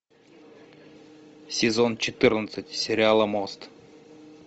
сезон четырнадцать сериала мост